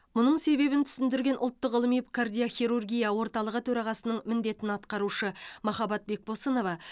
мұның себебін түсіндірген ұлттық ғылыми кардиохирургия орталығы төрағасының міндетін атқарушы махаббат бекбосынова